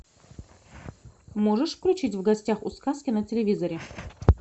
можешь включить в гостях у сказки на телевизоре